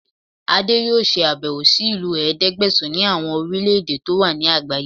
Adé yóò ṣe àbẹ̀wò sí ìlú ẹ̀ẹ́dẹ́gbẹ̀sán ní àwọn orílẹ̀ èdè tó wà ní àgbáyé